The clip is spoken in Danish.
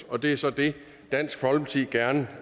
og det er så det dansk folkeparti gerne